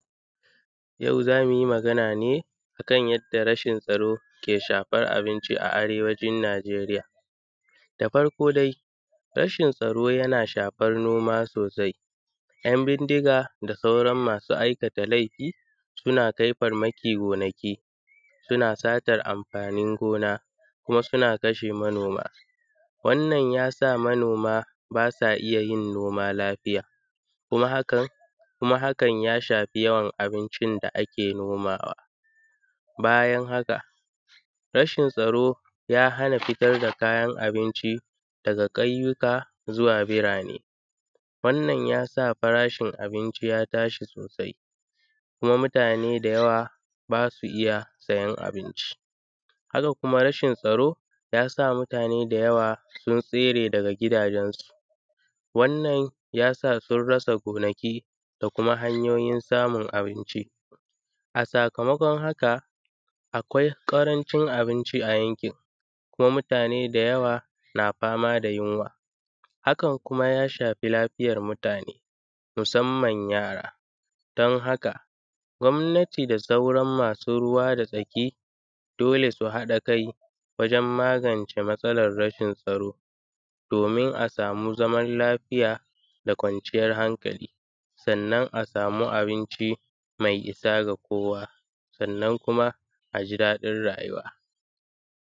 Yau za mu yi magana ne akan yanda rashin tsaro ke shafan abinci a Arewacin Najeriya. Da farko dai, rashin tsaro yana shan noma sosai. Yan bindiga da sauran masu aikata lefi suna kai farmaki gonaki, suna satar amfanin gona, kuma suna kashe manoma. Wannan yasa manoma ba su iya yin noma lafiya. Kuma hakan hakan ya shafi yawan abincin da ake nomawa. Bayan haka, rashin tsaro ya hana fitar da kayan abinci daga ƙauyuka zuwa birane. Wannan yasa farashin abinci ya tashi sosai, kuma mutane da yawa ba su iya sayen abinci. Haka kuma rashin tsaro yasa mutane da yawa sun tsere daga gidajensu. Wannan yasa sun rasa gonaki da kuma hanyoyin samun abinci. A sakamakon haka akwai ƙarancin abinci a yankin, kuma mutane da yawa na fama da yunwa. Hakan kuma ya shafi lafiyar mutane, musamman yara. Don haka, gwamnati da sauran masu ruwa da tsaki, dole su haɗa kai wajen magance matsalar rashin tsaro, domin a samu zaman lafiya da kwanciyar hankali. Sannan a samu abinci mai isa ga kowa, sannan kuma a ji dadin rayuwa.